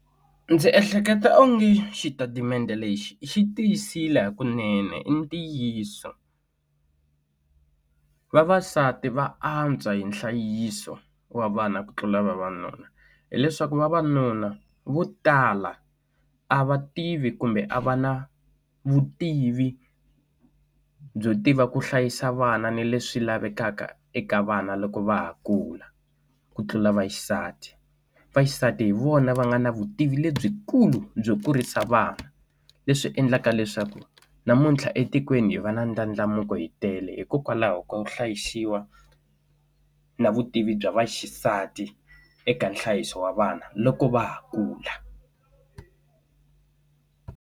Ndzi ehleketa onge xitatimende lexi xi tiyisile hakunene i ntiyiso vavasati va antswa hi nhlayiso wa vana ku tlula vavanuna hileswaku vavanuna vo tala a va tivi kumbe a va na vutivi byo tiva ku hlayisa vana ni leswi lavekaka eka vana loko va ha kula ku tlula vaxisati vaxisati hi vona va nga na vutivi lebyikulu byo kurisa vana leswi endlaka leswaku namuntlha etikweni hi va na ndlandlamuko hi tele hikokwalaho ka ku hlayisiwa na vutivi bya vaxisati eka nhlayiso wa vana loko va ha kula.